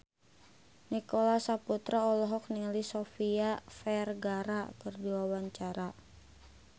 Nicholas Saputra olohok ningali Sofia Vergara keur diwawancara